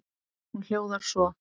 Hún hljóðar svo: